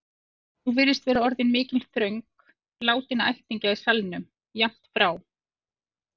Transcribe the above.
Nú virðist vera orðin mikil þröng látinna ættingja í salnum, jafnt frá